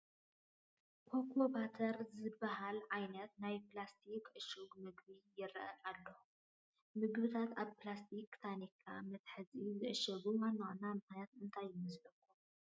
ኮካ ባተር ዝበሃል ዓይነት ናይ ፕላስቲክ ዕሹግ ምግቢ ይርአ ኣሎ፡፡ ምግብታት ኣብ ፕላስቲክን ታኒካን መትሓዚ ዝዕሸጉሉ ዋና ዋና ምኽንያት እንታይ ይመስለኩም?